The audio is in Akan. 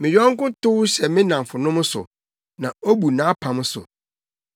Me yɔnko tow hyɛ ne nnamfonom so; na obu nʼapam so.